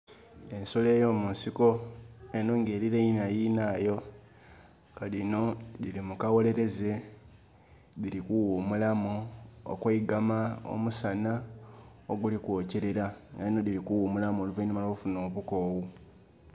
Ensolo eyomusiko, enho nga erineina yinhayo . Nga dhino dhili mukawoleleeze dhili kughumulamu okweigama omusanha oguli kwokyerera nga enho dhili kughumulamu oluvainhuma lwo kufunha obukoghu